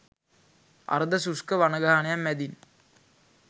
අර්ධ ශුෂ්ක වනගහනයක් මැදින්